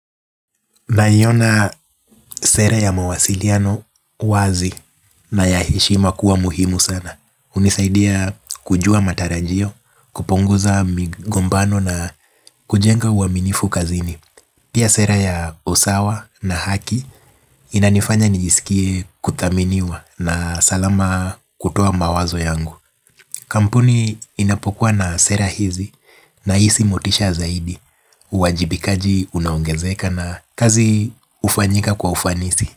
Nayiona sera ya mawasiliano wazi na yaheshima kuwa muhimu sana. Unisaidia kujua matarajio, kuuonguza migombano na kujenga uaminifu kazini. Pia sera ya usawa na haki inanifanya nijiskie kuthaminiwa na salama kutoa mawazo yangu. Kampuni inapokua na sera hizi na isi motisha zaidi. Uwajibikaji unaongenzeka na kazi ufanyika kwa ufanisi.